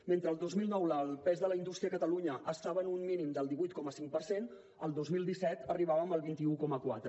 mentre el dos mil nou el pes de la indústria a catalunya estava en un mínim del divuit coma cinc per cent el dos mil disset arribàvem al vint un coma quatre